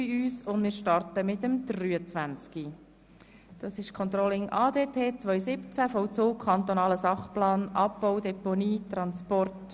Wir behandeln Traktandum 23 mit dem Titel «Controlling ADT 2017, Vollzug kantonaler Sachplan Abbau, Deponie und Transport.